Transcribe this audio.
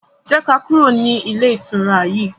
jé ká kúrò ní Ilé-ìtura yí.